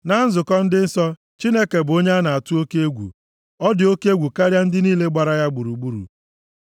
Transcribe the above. Na nzukọ ndị nsọ, Chineke bụ onye a na-atụ oke egwu; ọ dị oke egwu karịa ndị niile gbara ya gburugburu.